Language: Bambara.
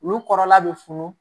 Olu kɔrɔla bɛ funu